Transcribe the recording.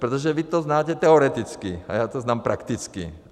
Protože vy to znáte teoreticky, a já to znám prakticky.